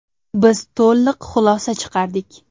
Biz to‘liq xulosa chiqardik.